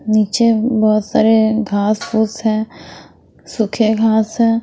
नीचे बहुत सारे घास-फूस हैं सूखे घास हैं ।